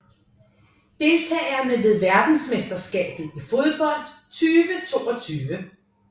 Deltagere ved verdensmesterskabet i fodbold 2022